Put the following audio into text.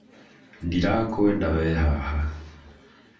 Ndirakwenda wee haha